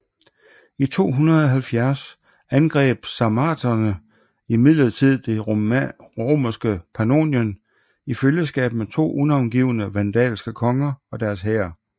I 270 angreb sarmaterne imidlertid det romerske Pannonien i følgeskab med to unavngivne vandalske konger og deres hær